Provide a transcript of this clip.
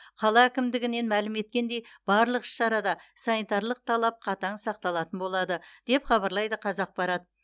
қала әкімдігінен мәлім еткендей барлық іс шарада санитарлық талап қатаң сақталатын болады деп хабарлайды қазақпарат